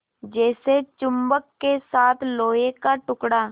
जैसे चुम्बक के साथ लोहे का टुकड़ा